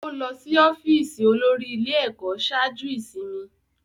Ó lọ sí ọ́fíìsì olórí ilé-ẹ̀kọ́ ṣáájú ìsinmi.